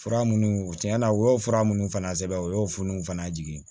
Fura minnu tiɲɛ na u y'o fura minnu fana sɛbɛn u y'o furaw fana jigin